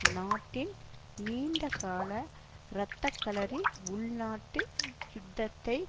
நாட்டின் நீண்டகால இரத்த களரி உள்நாட்டு யுத்தத்தை